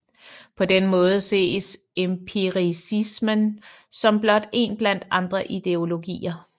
På denne måde ses empiricisme som blot én blandt andre ideologier